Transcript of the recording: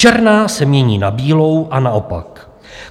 Černá se mění na bílou a naopak.